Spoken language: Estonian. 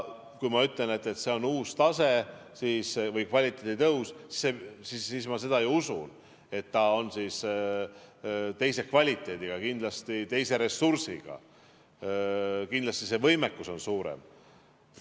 Kui ma ütlen, et see on uus tase või kvaliteedi tõus, siis ma seda ju usun, et siis on teine kvaliteet, kindlasti on teised ressursid, kindlasti on võimekus suurem.